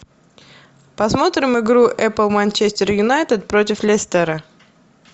посмотрим игру эпл манчестер юнайтед против лестера